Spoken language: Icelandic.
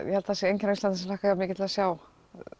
ég held að það sé enginn á Íslandi sem hlakkar jafn mikið til að sjá